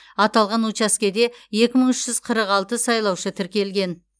аталған учаскеде екі мың үш жүз қырық алты сайлаушы тіркелген